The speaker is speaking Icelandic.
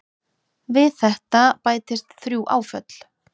Við þetta bætist þrjú áföll.